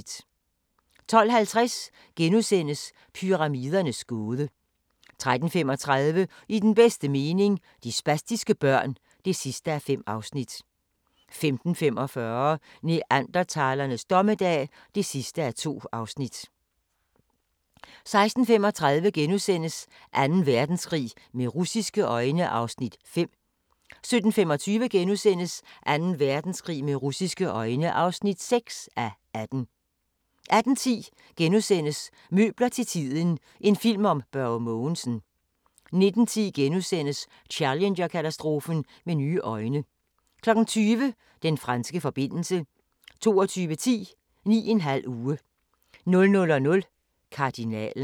12:50: Pyramidernes gåde * 13:35: I den bedste mening - de spastiske børn (5:5) 15:45: Neandertalernes dommedag (2:2) 16:35: Anden Verdenskrig med russiske øjne (5:18)* 17:25: Anden Verdenskrig med russiske øjne (6:18)* 18:10: Møbler til tiden – en film om Børge Mogensen * 19:10: Challenger-katastrofen med nye øjne * 20:00: Den franske forbindelse 22:10: 9½ uge 00:00: Kardinalen